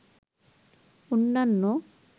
অন্যান্য